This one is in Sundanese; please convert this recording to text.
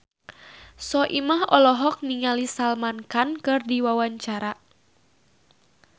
Soimah olohok ningali Salman Khan keur diwawancara